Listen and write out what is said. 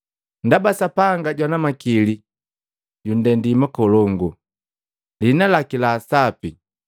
ndaba Sapanga jwana na Makili jundendi makolongu. Lihina laki la Sapi,